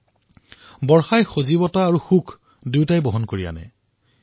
বাৰিষাই প্ৰাণোচ্চলতা আৰু আনন্দ অৰ্থাৎ ফ্ৰেশনেছ আৰু হেপিনেছ দুয়োটাকে লৈ আনে